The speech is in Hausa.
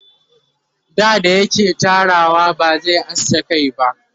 dada yake Tarawa ba zai aske Kai ba